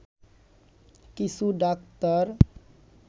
কিছু ডাক্তার